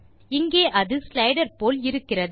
இங்கே அது ஸ்லைடர் போல் இருக்கிறது